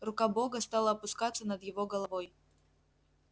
рука бога стала опускаться над его головой